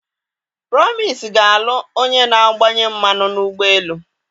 Promise ga-alụ onye na-agbanye mmanụ n'ụgbọ elu.